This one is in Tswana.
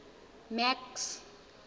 max